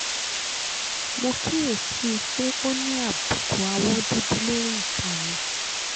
mo kíyè sí i pé ó ní àbùkù awọ́ dúdú lórí ika mi